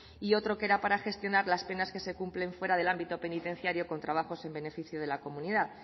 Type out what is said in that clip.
y otro que era para gestionar las penas que se cumplen fuera del ámbito penitenciario con trabajos en beneficio de la comunidad